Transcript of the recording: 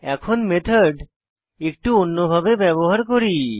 এখন মেথড একটু অন্য ভাবে ব্যবহার করি